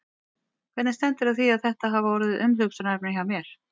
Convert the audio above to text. Hvernig stendur á því að þetta hafa orðið umhugsunarefni hjá mér?